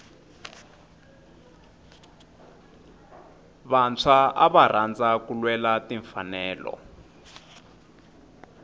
vantshwa ava rhandza ku lwela timfanelo